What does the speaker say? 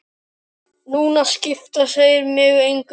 Núna skipta þeir mig engu.